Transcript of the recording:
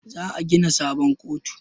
Za a gina sabon kotu